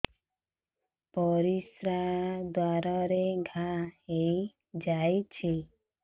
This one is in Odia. ପରିଶ୍ରା ଦ୍ୱାର ରେ ଘା ହେଇଯାଇଛି